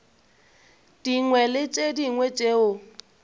dingwe le tše dingwe tšeo